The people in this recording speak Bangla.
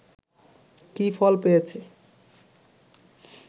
কি ফল পেয়েছে